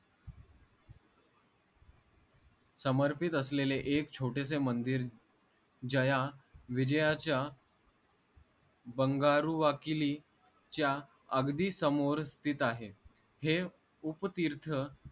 समर्पित असलेले एक छोटेसे मंदिर जया विजयाच्या बंगारू वाकिलीच्या अगदी समोर स्थित आहे हे उपतीर्थ